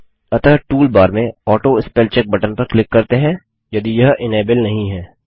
अतः टूलबार में auto spell check button पर क्लिक करते हैं यदि यह चालू नहीं है